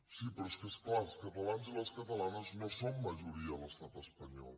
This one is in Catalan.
sí però és que és clar els catalans i les catalanes no som majoria a l’estat espanyol